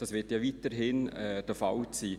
Das wird ja weiterhin bestehen.